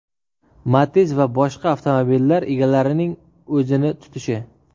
Matiz va boshqa avtomobillar egalarining o‘zini tutishi.